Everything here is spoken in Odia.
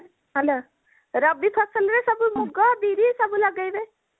hello ରବି ଫସଲରେ ସବୁ ମୁଗ ବିରି ସବୁ ଲଗେଇବେ